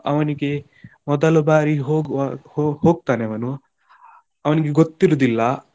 ಅವನಿಗೆ ಮೊದಲ ಬಾರಿ ಹೋಗವ ಹೋ~ ಹೋಗ್ತಾನೆ ಅವನು ಅವನಿಗೆ ಗೊತ್ತಿರುವುದಿಲ್ಲ.